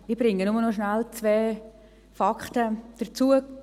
Ich bringe nur noch kurz zwei weitere Fakten ein;